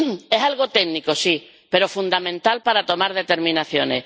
Es algo técnico, sí, pero fundamental para tomar determinaciones.